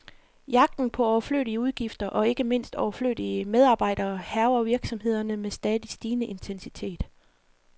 Jagten på overflødige udgifter, og ikke mindst overflødige medarbejdere, hærger virksomhederne med stadig stigende intensitet.